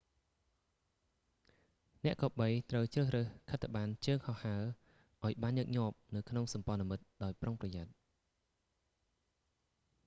អ្នកគប្បីត្រូវជ្រើសរើសខិត្តប័ណ្ណជើងហោះហើរឲ្យបានញឹកញាប់នៅក្នុងសម្ព័ន្ធមិត្តដោយប្រុងប្រយ័ត្ន